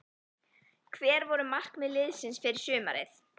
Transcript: Hver voru markmið liðsins fyrir sumarið?